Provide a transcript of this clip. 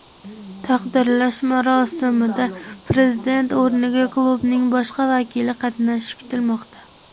Taqdirlash marosimida prezident o‘rniga klubning boshqa vakili qatnashishi kutilmoqda.